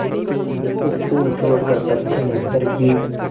उपकूल छोड़कर पश्चिमउत्तर की